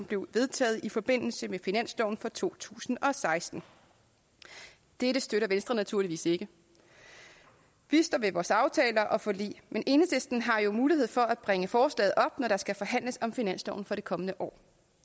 blev vedtaget i forbindelse med finansloven for to tusind og seksten dette støtter venstre naturligvis ikke vi står ved vores aftaler og forlig men enhedslisten har jo mulighed for at bringe forslaget op når der skal forhandles om finansloven for det kommende år